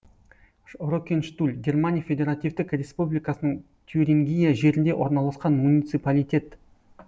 рокенштуль германия федеративтік республикасының тюрингия жерінде орналасқан муниципалитет